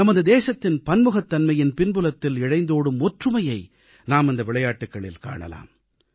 நமது தேசத்தின் பன்முகத்தன்மையின் பின்புலத்தில் இழைந்தோடும் ஒற்றுமையை நாம் இந்த விளையாட்டுகளில் காணலாம்